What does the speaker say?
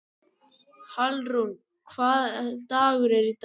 Hallrún, hvaða dagur er í dag?